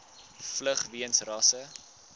vlug weens rasse